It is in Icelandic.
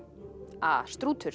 a